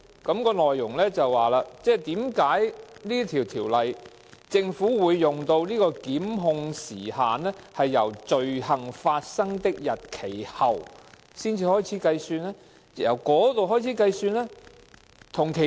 信件內容便是問就着《2017年僱傭條例草案》，為何政府會使用"罪行發生的日期後"來開始計算檢控時效呢？